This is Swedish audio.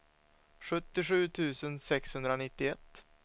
sjuttiosju tusen sexhundranittioett